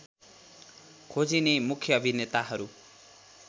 खोजिने मुख्य अभिनेताहरू